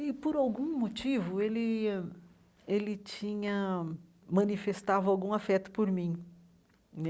E, por algum motivo, ele ele tinha... manifestava algum afeto por mim.